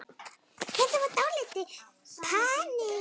Þetta var dálítið panikk.